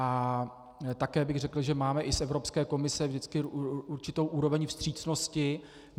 A také bych řekl, že máme i z Evropské komise vždycky určitou úroveň vstřícnosti.